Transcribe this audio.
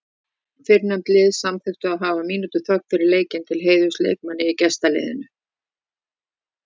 Fyrrnefnda liðið samþykkti að hafa mínútu þögn fyrir leikinn til heiðurs leikmanni í gestaliðinu.